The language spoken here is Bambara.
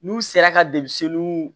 N'u sera ka